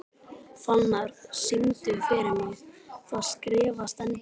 Fannar, syngdu fyrir mig „Það skrifað stendur“.